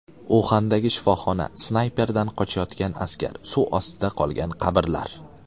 Uxandagi shifoxona, snayperdan qochayotgan askar, suv ostida qolgan qabrlar.